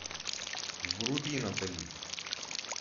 вруби натали